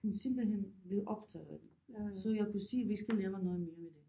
Hun simpelthen blevet optaget af det så jeg kan se at vi skal lave noget mere med det